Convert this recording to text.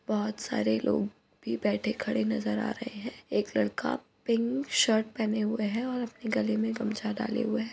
बोहोत सारे लोग भी बैठे खड़े नजर आ रहे हैं। एक लड़का पिंक शर्ट पहने हुए है और अपने गले में गमछा डाले हुए है।